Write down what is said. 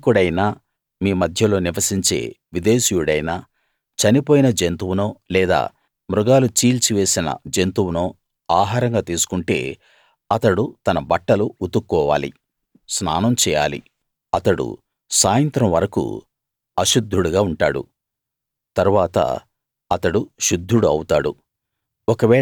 స్థానికుడైనా మీ మధ్యలో నివసించే విదేశీయుడైనా చనిపోయిన జంతువునో లేదా మృగాలు చీల్చివేసిన జంతువునో ఆహారంగా తీసుకుంటే అతడు తన బట్టలు ఉతుక్కోవాలి స్నానం చేయాలి అతడు సాయంత్రం వరకూ అశుద్ధుడుగా ఉంటాడు తరువాత అతడు శుద్ధుడు అవుతాడు